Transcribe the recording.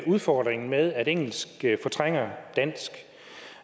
udfordringen med at engelsk fortrænger dansk